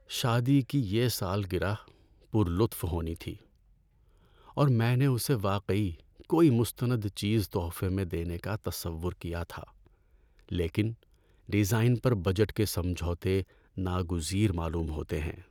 شادی کی یہ سالگرہ پُر لطف ہونی تھی، اور میں نے اسے واقعی کوئی مستند چیز تحفے میں دینے کا تصور کیا تھا۔ لیکن ڈیزائن پر بجٹ کے سمجھوتے ناگزیر معلوم ہوتے ہیں۔